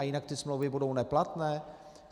A jinak ty smlouvy budou neplatné?